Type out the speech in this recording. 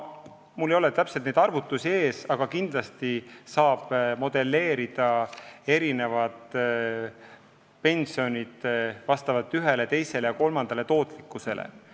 Mul ei ole siin täpseid arvutusi, aga kindlasti saab modelleerida, millised on pensionid ühe, teise või kolmanda tootlikkuse korral.